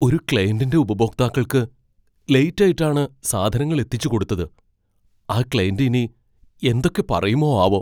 ഒരു ക്ലയന്റിൻ്റെ ഉപഭോക്താക്കൾക്ക് ലേറ്റ് ആയിട്ടാണ് സാധനങ്ങൾ എത്തിച്ചുകൊടുത്തത്, ആ ക്ലയന്റ് ഇനി എന്തൊക്കെ പറയുമോ ആവോ.